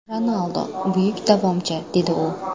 Ronaldu buyuk davomchi”, dedi u.